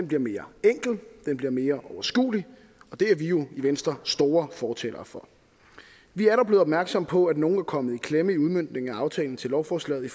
bliver mere enkel og den bliver mere overskuelig og det er vi jo i venstre store fortalere for vi er dog blevet opmærksomme på at nogle er kommet i klemme i udmøntningen af aftalen til lovforslaget i